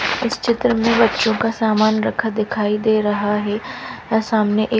इस चित्र में बच्चो का सामान रखा दिखाई दे रहा है और सामने एक --